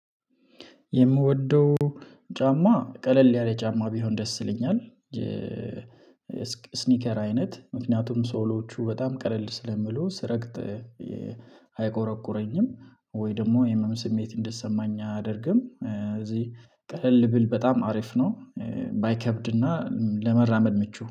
የምወደው ጫማ ቀለል ያለ ጫማ ቢሆን ደስ ይለኛል። ስኒከር አይነት ምክንያቱም ሶሎቹ በጣም ቀለል ስለሚሉ ስረግጥ አይቆረቁረኝም ወይ ደግሞ የህመም ስሜት እንዲሰማኝ አያደርግም። እዚህ ቀለል ብል በጣም አሪፍ ነው። ባይከብድና ለመራመድ ምቹ